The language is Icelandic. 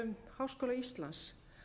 háskóla íslands